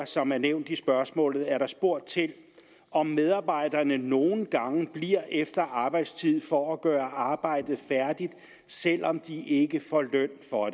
som er nævnt i spørgsmålet er der spurgt til om medarbejderne nogle gange bliver efter arbejdstid for at gøre arbejdet færdigt selv om de ikke får løn for